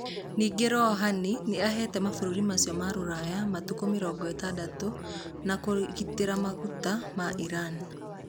Ningĩ Rouhani nĩ aheete mabũrũri macio ma rũraya matukũ mĩrongo ĩtandatũ ma kũgitĩra maguta ma Iran.